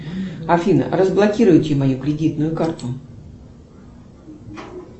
афина разблокируйте мою кредитную карту